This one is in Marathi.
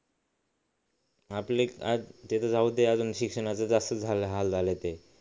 आपले ते तर जाऊ दे अजून शिक्षणाचं असं झालंय ते